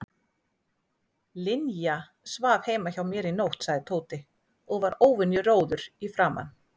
Linja svaf heima hjá mér í nótt sagði Tóti og var óvenju rjóður í framan.